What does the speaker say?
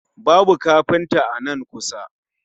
Babu kafinta a nan kusa